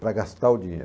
para gastar o dinheiro.